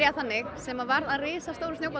sem varð að risastórum snjóbolta